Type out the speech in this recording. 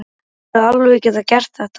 Pabbi þinn hefði alveg getað gert þetta.